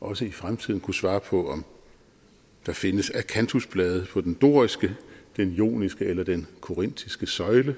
også i fremtiden kunne svare på om der findes akantusblade på den doriske den joniske eller den korintiske søjle